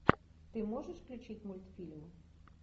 ты можешь включить мультфильм